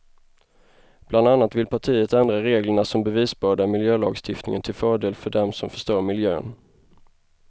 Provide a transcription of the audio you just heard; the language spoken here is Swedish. Bland annat vill partiet ändra reglerna om bevisbörda i miljölagstiftningen till fördel för dem som förstör miljön.